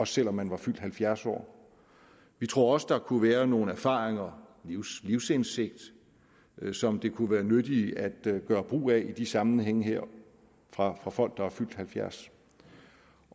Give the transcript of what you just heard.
selv om man var fyldt halvfjerds år vi tror også at der kunne være nogle erfaringer livsindsigt som det kunne være nyttigt at gøre brug af i de sammenhænge her fra folk der er fyldt halvfjerds